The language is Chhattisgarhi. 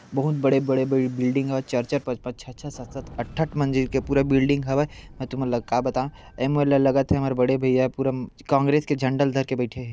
बहुत बड़े बड़े बिल्डिंग ह चर-चर पच-पच छ-छ सत-सत अठ-ठ मंजिल के पूरा बिल्डिंग हवे मे तुमन ल का बताव ए मोल लगत हे हमर बड़े भैया पुर कॉंग्रेस के झंडा ल धर के बैठे हे।